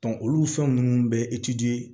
olu fɛn ninnu bɛ